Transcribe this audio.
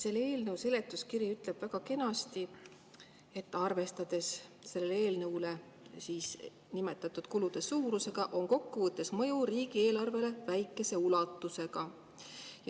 Selle eelnõu seletuskiri ütleb väga kenasti, et arvestades nimetatud kulude suurusega, on kokkuvõttes mõju riigieelarvele väikese ulatusega.